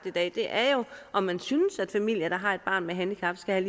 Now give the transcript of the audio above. i dag er jo om man synes at familier der har et barn med handicap skal